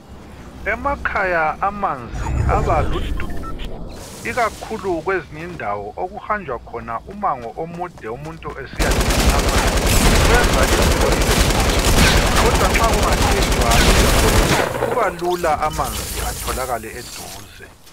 Emakhaya amanzi aba ludubo ikakhulu kwezinye indawo okuhanjwa khona umango omude umuntu esiyadinga amanzi kwenza impilo ibe nzima, kodwa nxa kungagejwa imigodi kuba lula amanzi atholakale eduze.